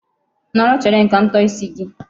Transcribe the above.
Nọrọ chere m ka m tọọ isi gị.